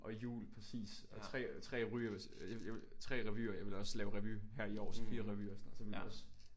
Og hjul præcis og 3 3 jeg ville 3 revyer jeg ville også lave revy her i år så 4 revyer og sådan noget så er man også